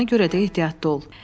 Ona görə də ehtiyatlı ol.